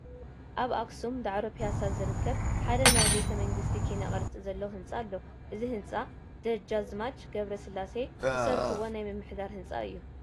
ኣብ ኣኽሱም ዳዕሮ ፒያሳ ዝርከብ ሓደ ናይ ቤተ መንግስቲ ኪነ ቅርፂ ዘለዎ ህንጻ ኣሎ፡፡ እዚ ህንፃ ደጃዝማች ገብረስላሴ ዘስርሕዎ ናይ ምምሕዳር ህንፃ እዩ፡፡